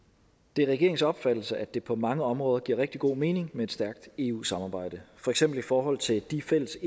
det er regeringens opfattelse at det på mange områder giver rigtig god mening med et stærkt eu samarbejde for eksempel i forhold til de fælles